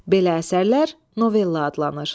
Belə əsərlər novella adlanır.